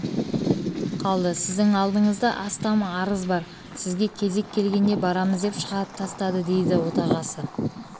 қалды сіздің алдыңызда астам арыз бар сізге кезек келгенде барамыз деп шығарып тастады дейді отағасы